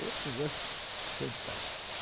É um negócio fantástico.